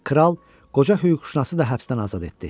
Kral qoca hüquqşünası da həbsdən azad etdi.